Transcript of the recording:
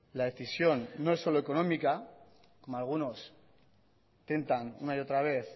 la decisión no es solo económica como algunos intentan una y otra vez